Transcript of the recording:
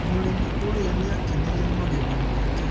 Mũrĩmi ũrĩa nĩ akeneire magetha make